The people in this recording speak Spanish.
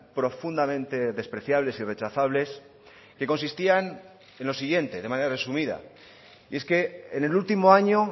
profundamente despreciables y rechazables que consistían en lo siguiente de manera resumida y es que en el último año